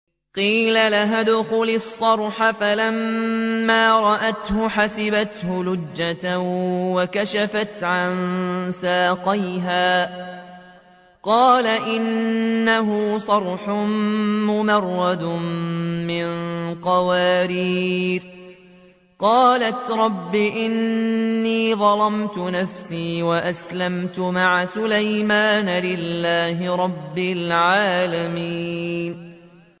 قِيلَ لَهَا ادْخُلِي الصَّرْحَ ۖ فَلَمَّا رَأَتْهُ حَسِبَتْهُ لُجَّةً وَكَشَفَتْ عَن سَاقَيْهَا ۚ قَالَ إِنَّهُ صَرْحٌ مُّمَرَّدٌ مِّن قَوَارِيرَ ۗ قَالَتْ رَبِّ إِنِّي ظَلَمْتُ نَفْسِي وَأَسْلَمْتُ مَعَ سُلَيْمَانَ لِلَّهِ رَبِّ الْعَالَمِينَ